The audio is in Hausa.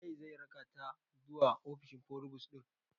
Waye zai rakata zuwa ofishi forubus ɗin?